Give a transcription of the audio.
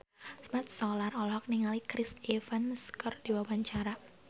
Mat Solar olohok ningali Chris Evans keur diwawancara